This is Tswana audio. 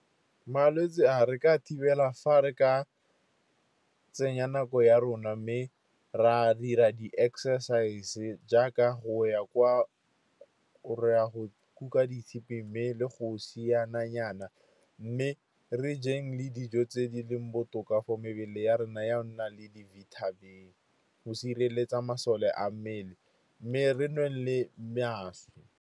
Malwetse a re ka thibela fa re ka tsenya nako ya rona, mme ra dira di-exercise jaaka go ya kwa re a go kuka ditshipi, mme le go siana nyana. Mme re jeng le dijo tse di leng botoka for mebele ya rona, ya nna le di-vitamin-e go sireletsa masole a mmele, mme re nweng le mašwi.